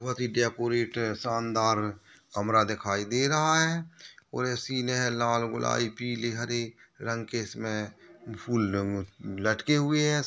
और शानदार कमरा दिखाई दे रहा है और ए सिने लाल गुलाबी पीले हरी रंग के इसमे फूल लटके हुए है।